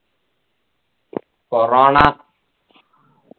corona